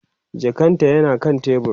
jakan ta yana kan tebur